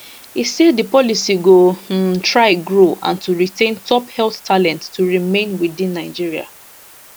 e say di policy go um try grow and to retain top health talent to remain within nigeria